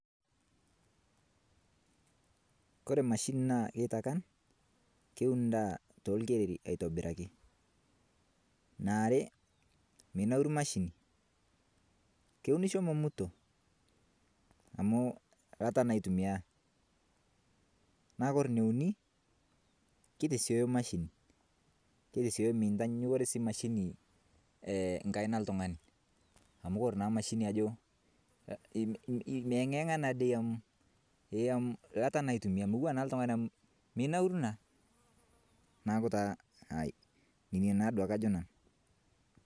kore mashini naa keitakan kewun ndaa tolkereri aitobiraki naare meinauru mashini kowunisho momutoo amu lataa naa eitumiyaa naa kore neunii keitesioyo mashini keitesioyo mentanyanyukoree sii mashini nkaina ee ltung'ani amu kore naa mashini ajo meeng'inyegaa naadei amu ee lata naadei eitumia motuwaa naa nkaina ee ltungani amu meinauru naa. Naaku taa nenia taa duake ajo nanuu.